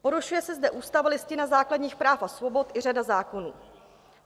Porušuje se zde ústava a Listina základních práv a svobod i řada zákonů.